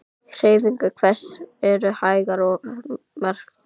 Hreyfingar hans eru hægar og markvissar.